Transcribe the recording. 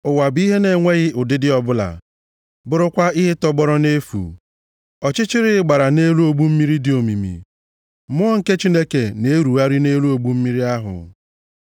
Ụwa bụ ihe na-enweghị ụdịdị ọbụla, bụrụkwa ihe tọgbọrọ nʼefu. Ọchịchịrị gbara nʼelu ogbu mmiri dị omimi. Mmụọ nke Chineke na-erugharị nʼelu ogbu mmiri ahụ.